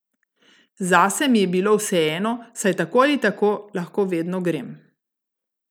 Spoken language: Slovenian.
Zase mi je bilo vseeno, saj tako ali tako lahko vedno grem.